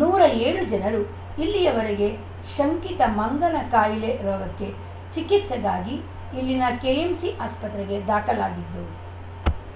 ನೂರ ಏಳು ಜನರು ಇಲ್ಲಿಯ ವರೆಗೆ ಶಂಕಿತ ಮಂಗನ ಕಾಯಿಲೆ ರೋಗಕ್ಕೆ ಚಿಕಿತ್ಸೆಗಾಗಿ ಇಲ್ಲಿನ ಕೆಎಂಸಿ ಆಸ್ಪತ್ರೆಗೆ ದಾಖಲಾಗಿದ್ದು